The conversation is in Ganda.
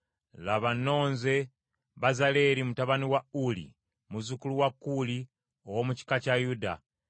“Laba, nnonze Bezaaleeri mutabani wa Uli, muzzukulu wa Kuuli, ow’omu kika kya Yuda;